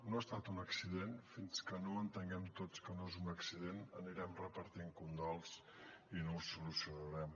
no ha estat un accident fins que no entenguem tots que no és un accident anirem repartint condols i no ho solucionarem